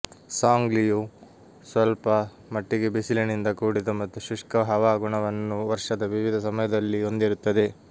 ಸಾಂಗ್ಲಿಯು ಸ್ವಲ್ಪ ಮಟ್ಟಿಗೆ ಬಿಸಿಲಿನಿಂದ ಕೂಡಿದ ಮತ್ತು ಶುಷ್ಕ ಹವಾಗುಣವನ್ನು ವರ್ಷದ ವಿವಿಧ ಸಮಯದಲ್ಲಿ ಹೊಂದಿರುತ್ತದೆ